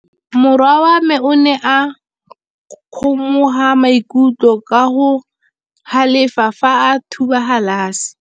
Morwa wa me o ne a kgomoga maikutlo ka go galefa fa a thuba galase.